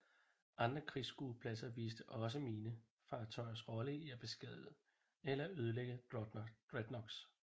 Andre krigsskuepladser viste også mine fartøjers rolle i at beskadige eller ødelægge dreadnoughts